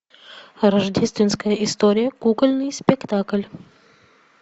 рождественская история кукольный спектакль